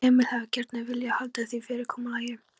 Emil hefði gjarnan viljað halda því fyrirkomulagi.